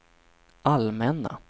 allmänna